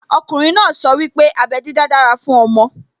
Okùnrin náà sọ wípé abẹ́ dídá dára fún ọmọ